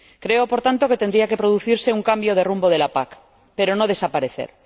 Creo, por tanto, que tendría que producirse un cambio de rumbo de la PAC, pero no desaparecer.